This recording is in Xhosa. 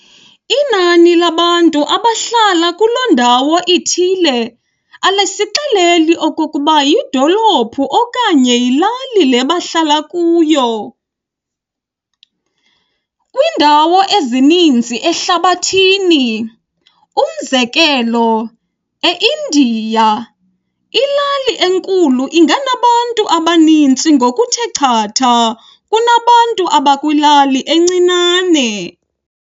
Inani labantu abahlala kuloo ndawo ithile alisixeleli okokuba yidolophu okanye yilali le bahlala kuyo. Kwiindawo ezininzi apha ehlabathini, umzekelo, eIndia, ilali enkulu inganabantu abaninzi ngokuthe chatha kunabantu abakwilali encinane.